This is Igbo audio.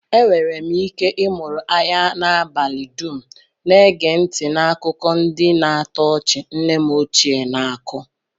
Enwere m ike ịmụrụ anya n'abalị dum, na-ege ntị n'akụkọ ndị na-atọ ọchị nne m ochie na-ako